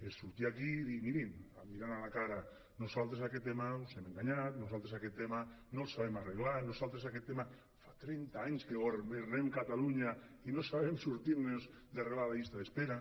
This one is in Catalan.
és sortir aquí i dir mirin mirant a la cara nosaltres en aquest tema us hem enganyat nosaltres aquest tema no el sabem arreglar nosaltres aquest tema fa trenta anys que governem catalunya i no sabem sortir nos d’arreglar la llista d’espera